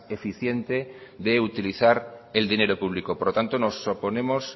eficiente de utilizar el dinero público por lo tanto nos oponemos